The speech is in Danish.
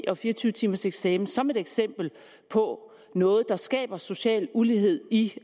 og fire og tyve timers eksamen som et eksempel på noget der skaber social ulighed i